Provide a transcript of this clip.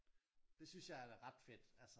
Det synes jeg er ret fedt altså